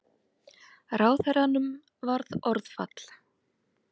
Ráðherranum varð orðfall.